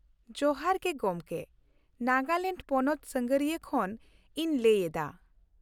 ᱡᱚᱦᱟᱨ ᱜᱮ ᱜᱚᱢᱠᱮ ! ᱱᱟᱜᱟᱞᱮᱱᱰ ᱯᱚᱱᱚᱛ ᱥᱟᱸᱜᱷᱟᱨᱤᱭᱟᱹ ᱠᱷᱚᱱ ᱤᱧ ᱞᱟᱹᱭ ᱮᱫᱟ ᱾